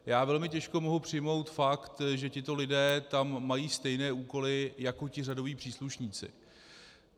Já velmi těžko mohu přijmout fakt, že tito lidé tam mají stejné úkoly jako ti řadoví příslušníci.